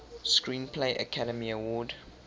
screenplay academy award